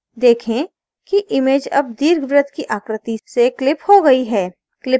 देखें कि image अब दीर्घवृत्त की आकृति से clipped हो गई है